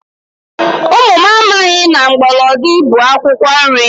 Ụmụ m amaghị na mgbọlọdị bụ akwụkwọ nri